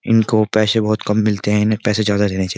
इनको पैसे बोहोत कम मिलते हैं इन्हें पैसे ज्यादा देने चाहिए।